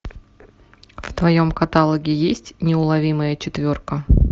в твоем каталоге есть неуловимая четверка